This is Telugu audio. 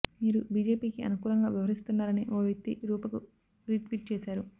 మీరు బిజెపికి అనుకూలంగా వ్యవహరిస్తున్నారని ఓ వ్యక్తి రూపకు రీట్వీట్ చేశారు